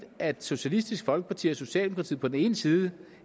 at socialistisk folkeparti og socialdemokratiet på den ene side